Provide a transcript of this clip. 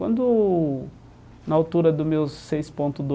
Quando, na altura do meus seis ponto